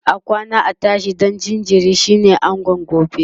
akwana a tashi ɗan jinjiri shine angon gobe